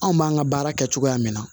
Anw b'an ka baara kɛ cogoya min na